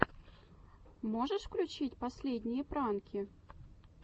можешь включить последние пранки